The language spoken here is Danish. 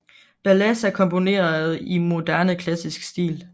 Balassa komponerede i moderne klassisk stil